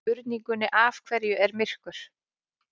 Spurningunni Af hverju er myrkur?